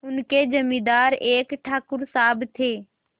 उनके जमींदार एक ठाकुर साहब थे